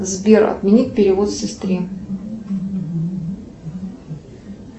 сбер отменить перевод сестре